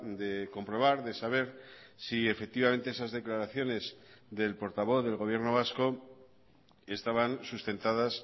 de comprobar de saber si efectivamente esas declaraciones del portavoz del gobierno vasco estaban sustentadas